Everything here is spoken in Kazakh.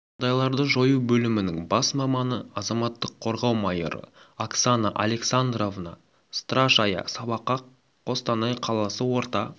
жағдайларды жою бөлімінің бас маманы азаматтық қорғау майоры оксана александровна страшая сабаққа қостанай қаласы орта